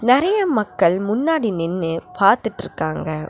நெறைய மக்கள் முன்னாடி நின்னு பாத்துட்ருக்காங்க.